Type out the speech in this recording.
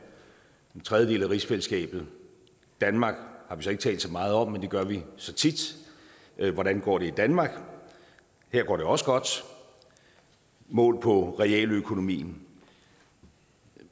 den tredje del af rigsfællesskabet danmark har vi så ikke talt så meget om men det gør vi så tit hvordan går det i danmark her går det også godt målt på realøkonomien